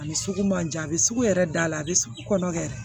A ni sugu man jan a bɛ sugu yɛrɛ da a bɛ sugu kɔnɔ kɛ